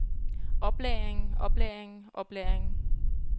oplagringen oplagringen oplagringen